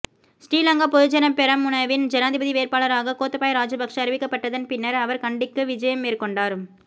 ஸ்ரீலங்கா பொதுஜன பெரமுனவின் ஜனாதிபதி வேட்பாளராக கோத்தபாய ராஜபக்ச அறிவிக்கப்பட்டதன் பின்னர் அவர் கண்டிக்கு விஜயம் மேற்கொண்டார்